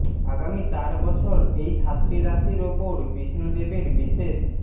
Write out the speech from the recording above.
আগামী চার বছর এই সাতটি রাশির ওপর বিষ্ণু দেবের বিশেষ